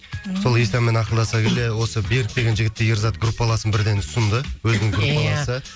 сол исляммен ақылдаса келе осы берік деген жігітті ерзат группаласын бірден ұсынды өзінің группаласы